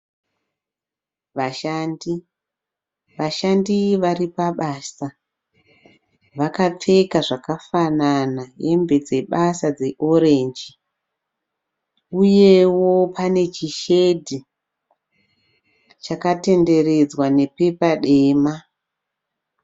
Vashandi. Vashandi vari pabasa. Vakapfeka zvakafanana hembe dzebasa dzeorenji uyewo pane chishedhi chakatenderedzwa nebepa tema.